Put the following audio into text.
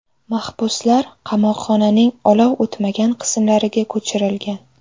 Mahbuslar qamoqxonaning olov o‘tmagan qismlariga ko‘chirilgan.